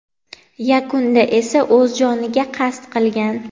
Yakunda esa o‘z joniga qasd qilgan.